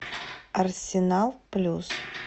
арсенал плюс